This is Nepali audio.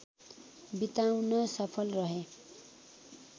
बिताउन सफल रहे